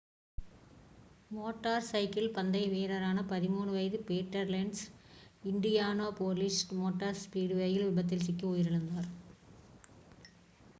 motor cycle பந்தய வீரரான 13 வயது பீட்டர் லென்ஸ் இண்டியானாபோலிஸ் மோட்டார் ஸ்பீட்வேயில் விபத்தில் சிக்கி உயிரிழந்தார்